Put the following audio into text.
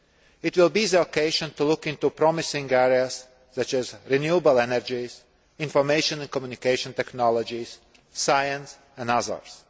It will be the occasion to look into promising areas such as renewable energies, information and communication technologies, science and others.